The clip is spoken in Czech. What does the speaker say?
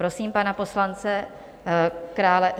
Prosím pana poslance Krále.